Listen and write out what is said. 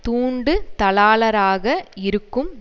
தூண்டுதலாளராக இருக்கும்